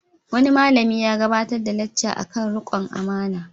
Wani malami ya gabatar da lacca kan riƙon amana.